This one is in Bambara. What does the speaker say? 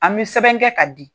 An bI sɛbɛn kɛ ka di.